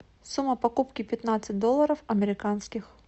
сумма покупки пятнадцать долларов американских